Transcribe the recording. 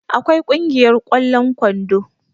akwai Kungiyar yan ƙwallon kwando